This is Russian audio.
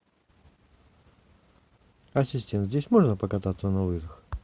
ассистент здесь можно покататься на лыжах